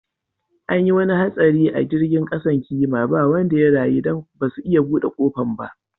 An yi wani hatsari a jirigin kasan kima ba wanda ya rayu dan basu iya bude kofan ba.